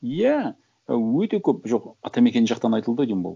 иә ы өте көп жоқ атамекен жақтан айтылды ғой деймін бұл